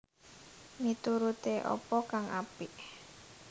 Mituruté apa kang apik